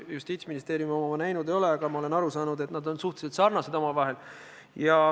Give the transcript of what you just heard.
Justiitsministeeriumi oma ma näinud ei ole, aga ma olen aru saanud, et need analüüsid on suhteliselt sarnased.